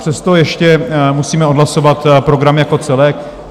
Přesto ještě musíme odhlasovat program jako celek.